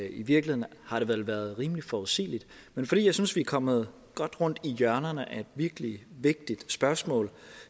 i virkeligheden har det vel været rimelig forudsigeligt men fordi jeg synes vi er kommet godt rundt i hjørnerne af et virkelig vigtigt spørgsmål